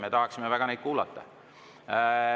Me tahaksime väga neid kuulata.